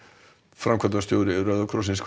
framkvæmdastjóri Rauða krossins